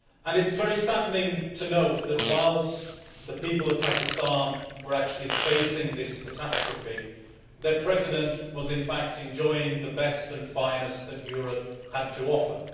It is very saddening to note that, whilst the people of Pakistan were facing this catastrophe, their President was enjoying the best and finest that Europe had to offer.